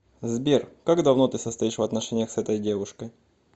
сбер как давно ты состоишь в отношениях с этой девушкой